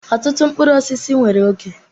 Ọtụtụ mkpụrụ osisi nwere oge.